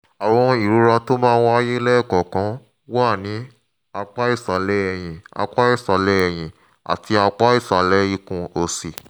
ìrora tó máa ń wáyé lẹ́ẹ̀kọ̀ọ̀kan wà ní apá ìsàlẹ̀ ẹ̀yìn apá ìsàlẹ̀ ẹ̀yìn àti apá ìsàlẹ̀ ikùn òsì